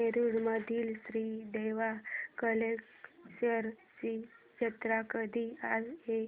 नेरुर मधील श्री देव कलेश्वर ची जत्रा कधी आहे